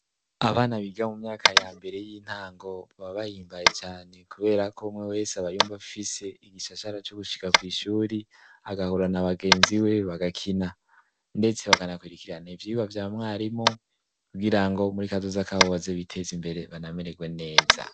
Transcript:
Abana biga mu myaka ya mbere y'intango ,baba bahimbaye cane kubera k’umwe wese abayumv’afise igishashara co gushika kw’ ishuri , agahura na bagenzi we bagakina , ndetse bagakurikiran’ivyigwa vya mwarimu kugirango muri kazoza kabo baze biteze imbere banameregwe neza.